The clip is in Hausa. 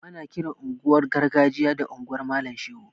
Ana kiran unguwar gargajiya da unguwar malam shehu